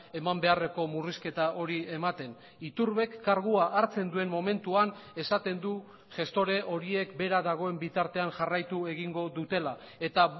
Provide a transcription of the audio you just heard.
eman beharreko murrizketa hori ematen iturbek kargua hartzen duen momentuan esaten du gestore horiek bera dagoen bitartean jarraitu egingo dutela eta